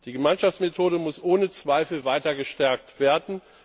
Die Gemeinschaftsmethode muss ohne Zweifel weiter gestärkt werden.